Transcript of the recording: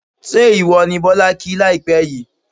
ṣé ìwọ ni Bọ́lá kí láìpẹ́ yìí?